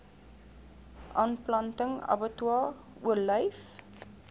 aanplanting abbatior olyf